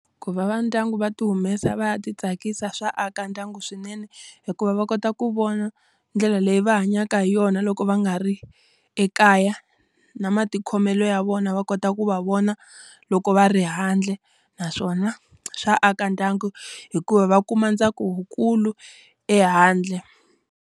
Ku va va ndyangu va ti humesa va ya ti tsakisa swa aka ndyangu swinene. Hikuva va kota ku vona ndlela leyi va hanyaka hi yona loko va nga ri ekaya, na matikhomelo ya vona va kota ku va vona loko va ri handle. Naswona swa aka ndyangu hikuva va kuma ntsako wu kulu ehandle.